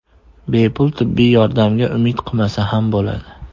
Bepul tibbiy yordamga umid qilmasa ham bo‘ladi.